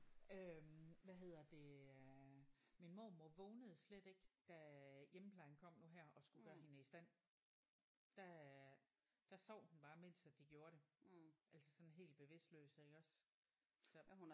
Øh hvad hedder det øh min mormor vågnede slet ikke da hjemmeplejen kom nu her og skulle gøre hende i stand der øh der sov hun bare imens at de gjorde det altså sådan helt bevidstløs iggås så